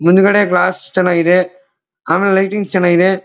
ಮುಂದ್ಗಡೆ ಗ್ಲಾಸ್ ಚನ್ನಾಗಿದೆ ಆಮೆಲೆ ಲೈಟಿಂಗ್ಸ್ ಚೆನ್ನಾಗಿದೆ.